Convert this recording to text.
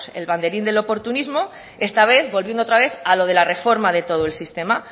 el banderín del oportunismo esta vez volviendo otra vez a lo de la reforma de todo el sistema